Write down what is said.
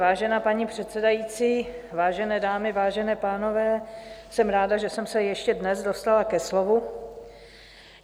Vážená paní předsedající, vážené dámy, vážení pánové, jsem ráda, že jsem se ještě dnes dostala ke slovu.